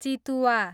चितुवा